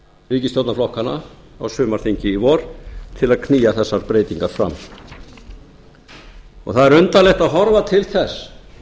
ríkisstjórnarflokkanna á sumarþingi í vor til að knýja þessar breytingar fram það er undarlegt að horfa til þess